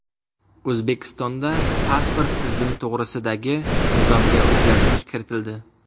O‘zbekistonda pasport tizimi to‘g‘risidagi nizomga o‘zgartirish kiritildi.